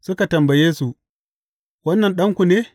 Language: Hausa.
Suka tambaye su, Wannan ɗanku ne?